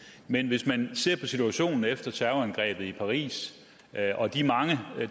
men hvis man ser på situationen efter terrorangrebet i paris og de mange